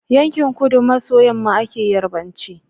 Yankin kudu maso yamma ake yarbanci